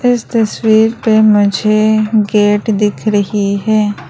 इस तस्वीर पे मुझे गेट दिख रही है।